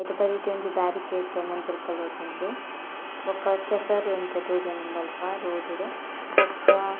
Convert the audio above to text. ಐತ ಬರಿಟೆ ಒಂಜಿ ಬ್ಯಾರಿಕೇಡ್ ಮಂಜೊಲ್ ಕಲರ್ದ ಉಂಡು ಬೊಕ ಕೆಸರ್ ಒಂತೆ ತೋಜೊಂದುಂಡು ಅಲ್ಪ ರೋಡ್ ಡು ಬೊಕ್ಕ.